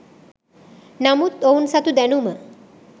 නමුත් ඔවුන් සතු දැනුම